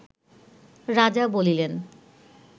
রাজা বলিলেন